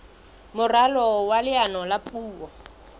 moralo wa leano la puo